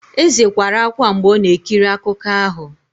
Eze kwara ákwá mgbe ọ na-ekiri akụkọ ahụ.